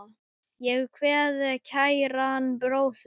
Ég kveð kæran bróður.